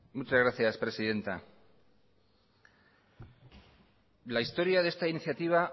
muchas gracias presidenta la historia de esta iniciativa